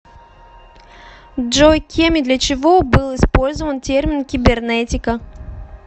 джой кем и для чего был использован термин кибернетика